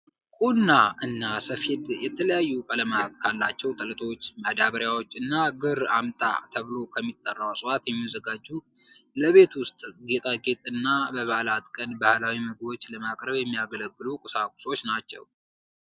ቁና እና ሰፌድ የተለያዩ ቀለማት ካሏቸው ጥለቶች፣ ማዳበሪያዎች እና ግር አምጣ ተብሎ ከሚጠራው እፅዋት የሚዘጋጁ ለቤት ውስጥ ጌጣጌጥ እና በበዓላት ቀን ባህላዊ ምግቦች ለማቅረብ የሚያገለግሉ ቁሳቁሶች ናቸው።